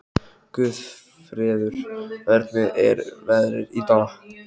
Guðfreður, hvernig er veðrið í dag?